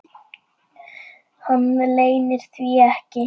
Hann leynir því ekki.